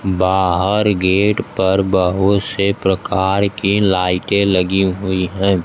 बाहर गेट पर बहू से प्रकार की लाइटे लगी हुई है।